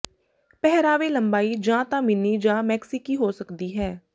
ਪਹਿਰਾਵੇ ਲੰਬਾਈ ਜਾਂ ਤਾਂ ਮਿੰਨੀ ਜਾਂ ਮੈਕਸਿਕੀ ਹੋ ਸਕਦੀ ਹੈ